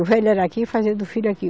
O velho era aqui, fazia do filho aqui.